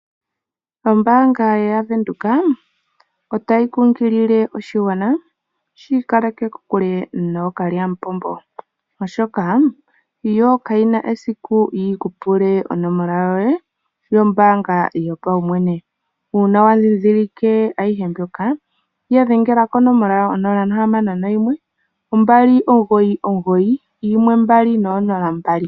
Ombaanga yaVenduka otayi kunkilile oshigwana shi ikaleke kokule nookalyamupombo. Oshoka yo kayina esiku yiku pule onomola yoye yombaanga yopaumwene. Uuna wa dhindhilike ayihe mbyoka ya dhengela konomola yawo onola nohamano noyimwe ombali omugoyi omugoyi yimwe mbali noonola mbali.